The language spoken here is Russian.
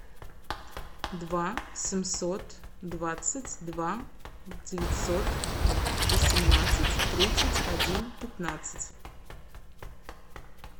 два семьсот двадцать два девятьсот восемнадцать тридцать один пятнадцать